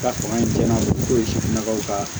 Ka fanga in cɛnna n'o ye sifinnakaw ka